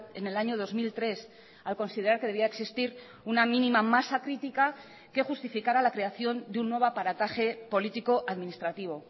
en el año dos mil tres al considerar que debía existir una mínima masa crítica que justificara la creación de un nuevo aparataje político administrativo